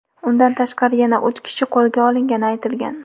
Undan tashqari yana uch kishi qo‘lga olingani aytilgan.